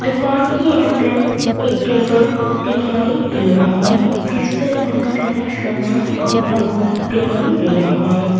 दुकान के अंदर एक टेबल दिखाई दे रहे हैं जिस पर बहुत सारा सामान रखा हुआ दिखाई दे रहा है।